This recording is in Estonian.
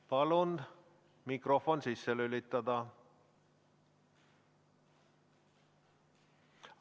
Palun mikrofon sisse lülitada!